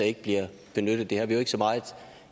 ikke bliver benyttet der har vi jo ikke så meget